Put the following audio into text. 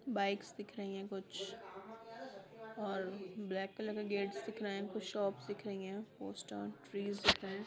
Bikes दिख रही हैं कुछ और ब्लैक कलर के गेट्स दिख रहे हैं कुछ शॉपस् दिख रही हैं पोस्टरस ट्रीस् दिख रहे हैं।